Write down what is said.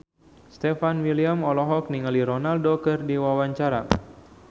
Stefan William olohok ningali Ronaldo keur diwawancara